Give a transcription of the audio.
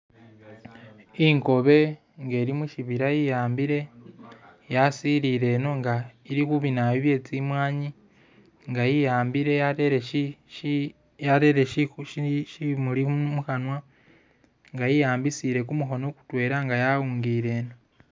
Ingobe ngeli musibila ye'ambile yasilile no nga ilikhubinawoyu byetsimwani nga ye'ambile yarere shi shi yarere shi shi shimuli mukhanwa nga ye'ambile kumukhono mutwela nga yawungile no